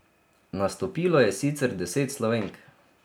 Nastopilo je sicer deset Slovenk.